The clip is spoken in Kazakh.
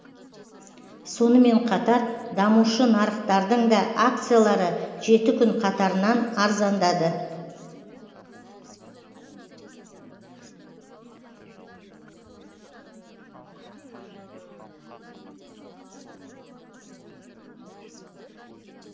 сонымен қатар дамушы нарықтардың да акциялары жеті күн қатарынан арзандады